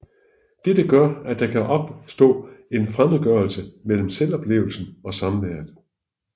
Dette gør at der kan opstå en fremmedgørelse mellem selvoplevelsen og samværet